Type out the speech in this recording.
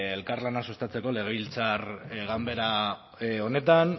elkarlana sustatzeko legebiltzar ganbera honetan